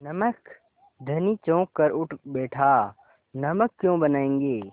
नमक धनी चौंक कर उठ बैठा नमक क्यों बनायेंगे